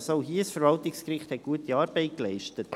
Auch hier: Das Verwaltungsgericht hat gute Arbeit geleistet.